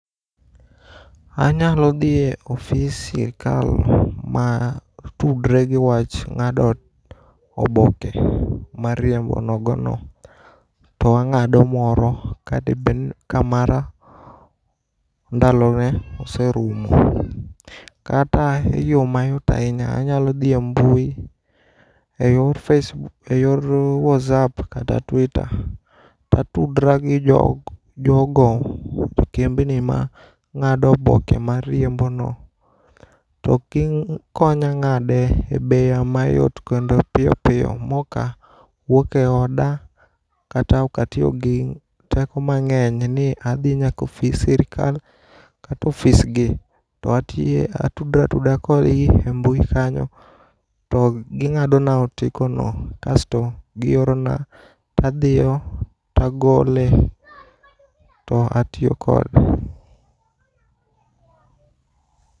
Anyalo dhiye ofis sirkal ma tudre gi wach ng'ado oboke mar riembo nogo no, to ang'ado moro kadebed ni ka mara ndalo ne oserumo. Kata e yo mayot ahinya, anyalo dhi e mbui e yor Faceb, e yor Wazap kata Twita. Tatudra gi jodo gi kembni ma ng'ado oboke mar riembo no. To gikonya ng'ade e bei mayot kendo piyo piyo moka wuok e oda. Kata okatiyo gi teko mang'eny ni nadhi nyaka e ofis sirikal kata ofis gi. To atiye atudra atuda kodgi e mbui kanyo to ging'ado na otiko no, kasto giorona. Tadhiyo, tagole, to atiyo kode.